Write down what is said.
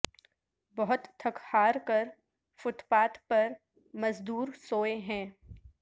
بہت تھک ہار کر فٹ پاتھ پر مزدور سوئے ہیں